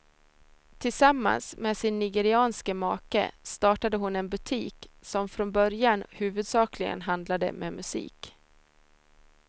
Tillsammans med sin nigerianske make startade hon en butik som från början huvudsakligen handlade med musik.